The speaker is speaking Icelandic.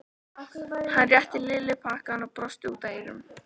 Hann rétti Lillu pakkann og brosti út að eyrum.